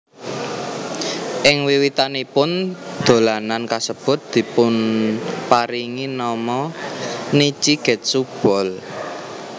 Ing wiwitanipun dolanan kasebut dipunparingi nama Nichi Getsu Ball